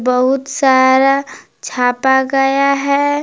बहुत सारा छापा गया है।